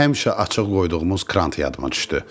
Həmişə açıq qoyduğumuz krant yadıma düşdü.